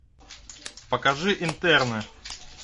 покажи интерны